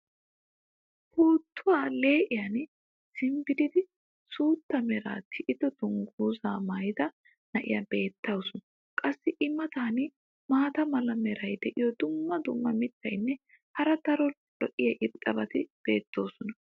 puuttuwa lee'iyan simbbiridi suutta meraa tiyido dangguzaa maayida na'iya beetawusu. qassi i matan maata mala meray diyo dumma dumma mitatinne hara daro lo'iya irxxabati beetoosona.